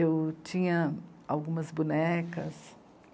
Eu tinha algumas bonecas.